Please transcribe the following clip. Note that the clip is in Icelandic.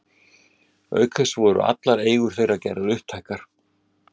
Auk þess voru allar eigur þeirra gerðar upptækar.